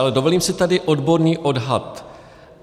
Ale dovolím si tady odborný odhad.